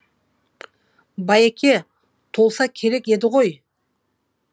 байеке толса керек еді ғой